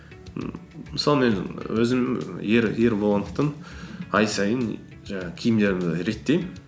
ммм мысалы мен өзім ер болғандықтан ай сайын жаңағы киімдерімді реттеймін